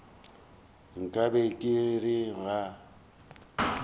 nka be ke re ga